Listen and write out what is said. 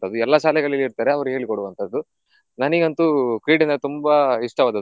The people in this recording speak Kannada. ಅದು ಎಲ್ಲ ಶಾಲೆಗಳಲ್ಲಿ ಇರ್ತಾರೆ ಅವರು ಹೇಳಿಕೊಡುವಂತದ್ದು ನನಿಗಂತೂ ಕ್ರೀಡೆ ಅಂದ್ರೆ ತುಂಬಾ ಇಷ್ಟವಾದದ್ದು.